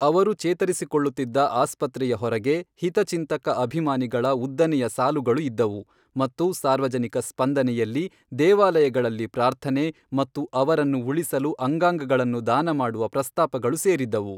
ಅವರು ಚೇತರಿಸಿಕೊಳ್ಳುತ್ತಿದ್ದ ಆಸ್ಪತ್ರೆಯ ಹೊರಗೆ ಹಿತಚಿಂತಕ ಅಭಿಮಾನಿಗಳ ಉದ್ದನೆಯ ಸಾಲುಗಳು ಇದ್ದವು ಮತ್ತು ಸಾರ್ವಜನಿಕ ಸ್ಪಂದನೆಯಲ್ಲಿ ದೇವಾಲಯಗಳಲ್ಲಿ ಪ್ರಾರ್ಥನೆ ಮತ್ತು ಅವರನ್ನು ಉಳಿಸಲು ಅಂಗಾಂಗಗಳನ್ನು ದಾನ ಮಾಡುವ ಪ್ರಸ್ತಾಪಗಳು ಸೇರಿದ್ದವು.